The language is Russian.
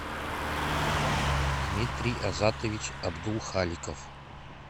дмитрий азатович абдулхаликов